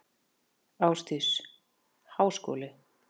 Ásdís: Háskóli?